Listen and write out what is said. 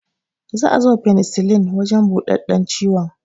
Za a ziba finsilin a wajan buɗaɗɗan ciwon